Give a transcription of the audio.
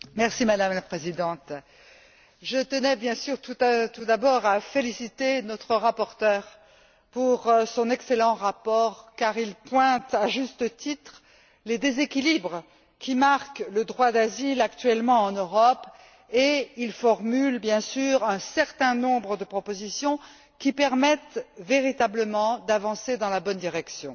Madame la Présidente, je tenais bien sûr tout d'abord à féliciter notre rapporteur pour son excellent rapport car il pointe, à juste titre, les déséquilibres qui marquent le droit d'asile actuellement en Europe et il formule, bien sûr, un certain nombre de propositions qui permettent véritablement d'avancer dans la bonne direction.